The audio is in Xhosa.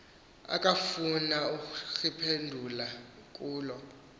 akafuna kuriphendula kulo